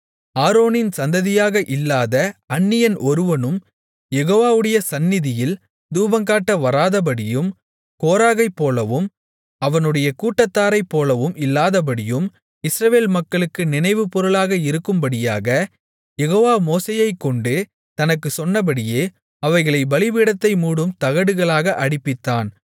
ஆரோனின் சந்ததியாக இல்லாத அந்நியன் ஒருவனும் யெகோவாவுடைய சந்நிதியில் தூபங்காட்ட வராதபடியும் கோராகைப்போலவும் அவனுடைய கூட்டத்தாரைப்போலவும் இல்லாதபடியும் இஸ்ரவேல் மக்களுக்கு நினைவுப்பொருளாக இருக்கும்படியாக யெகோவா மோசேயைக்கொண்டு தனக்குச் சொன்னபடியே அவைகளைப் பலிபீடத்தை மூடும் தகடுகளாக அடிப்பித்தான்